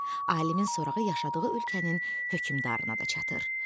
Alimin sorağı yaşadığı ölkənin hökmdarına da çatır.